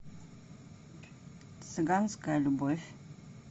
цыганская любовь